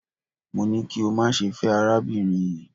Mo ní kí o má ṣe fẹ́ arábìnrin yii